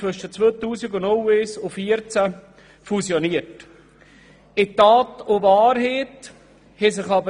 Zwischen 2001 und 2014 haben in unserem Land 237 Gemeinden fusioniert.